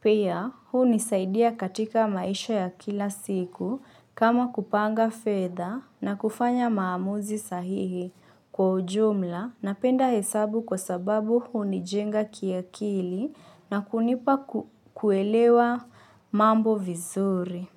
Pia, hunisaidia katika maisha ya kila siku kama kupanga feather na kufanya maamuzi sahihi. Kwa ujumla, napenda hesabu kwasababu hunijenga kiakili na kunipa kuelewa mambo vizuri.